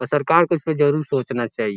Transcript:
और सरकार को इसपे जरूर सोचना चाहिए।